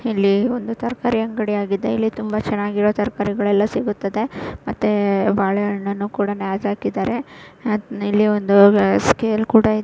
ಇಲ್ಲಿ ಒಂದು ತರಕಾರಿ ಅಂಗಡಿಯಾಗಿದೆ ಇಲ್ಲಿ ತುಂಬಾ ಚೆನ್ನಾಗಿರುವ ತರಕಾರಿಗಳೆಲ್ಲಾ ಸಿಗುತ್ತದೆ ಮತ್ತೆ ಬಾಳೆಹಣ್ಣನ್ನು ಕೂಡ ನೇತ ಹಾಕಿದ್ದಾರೆ ಆಹ್ಹ್ ಇಲ್ಲಿ ಒಂದು ಸ್ಕೇಲ್ ಕೂಡ ಇ --